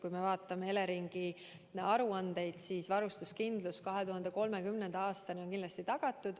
Kui me vaatame Eleringi aruandeid, siis varustuskindlus 2030. aastani on kindlasti tagatud.